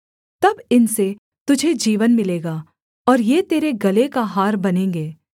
तब इनसे तुझे जीवन मिलेगा और ये तेरे गले का हार बनेंगे